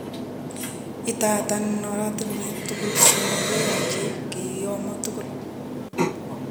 Idadan oratinwek tugul somok koyoche kiyomo tugul.